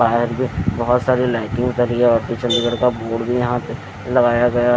बाहर में बहुत सारी लाइटिंग लगी है और कुछ अंदर का बोर्ड भी यहां लगाया गया।